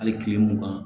Hali kile mugan